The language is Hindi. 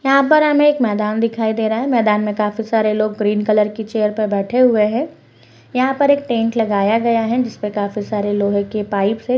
यहां पर हामे एक मैदान दिखाई दे रहा है। मैदान में काफी सारे लोग ग्रीन कलर की चेयर पर बैठे हुए हैं। यहां पर एक टेंट लगाया गया है जिस पर काफी सारे लोहे के पाइप है।